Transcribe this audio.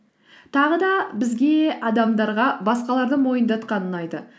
тағы да бізге адамдарға басқаларды мойындатқан ұнайды